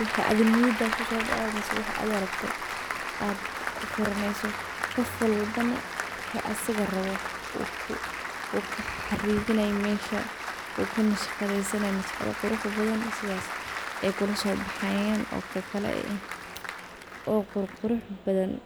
waxa adhin niyada kusodoco ama waxa adhi rabto aad kuqoronayso qoof walba na waxa isaga rawo oo uxariqanayo mesha oo ku nashagadhesanayo nashagada quruxdo badhan sidhaas ay kulusobaxayan oo ququrxbadhan.